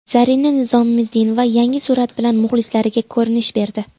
Zarina Nizomiddinova yangi surat bilan muxlislariga ko‘rinish berdi.